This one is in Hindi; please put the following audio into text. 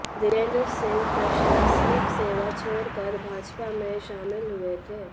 बृजेंद्र सिंह प्रशासनिक सेवा छोड़कर भाजपा में शामिल हुए थे